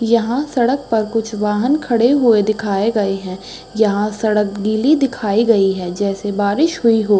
यहाँ सड़क पर कुछ वाहन खड़े हुए दिखाए गए हैं। यहाँ सड़क गीली दिखाई गई है जैसे बारिश हुई हो।